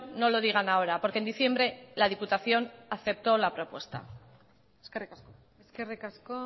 no lo digan ahora porque en diciembre la diputación aceptó la propuesta eskerrik asko eskerrik asko